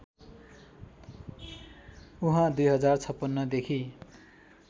उहाँ २०५६ देखि